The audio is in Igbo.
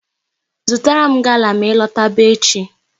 Zụtara m gala ma ị lọtaba echi!